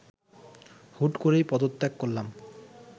হুট করেই পদত্যাগ করলাম